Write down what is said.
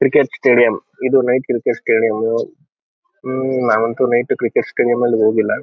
Cricket stadium ಇದು night cricket stadium . ನಾವಂತೂ night cricket stadium ಯಲ್ಲಿ ಹೋಗಿಲ್ಲ.